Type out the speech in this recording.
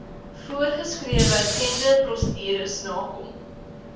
voorsgeskrewe tenderprosedures nakom